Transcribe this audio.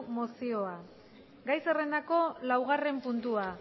mozioa gai zerrendako laugarren puntua